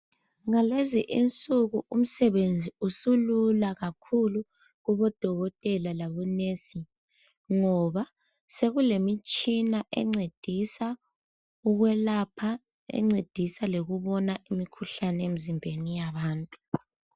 Ngalezi insuku umsebenzi usulula kakhulu kubodokotela lakubo mongikazi ngoba sokulemitshina engcedisa ukuyelapha lengcedisa ngokubona imikhuhlane emzimbeni yabantu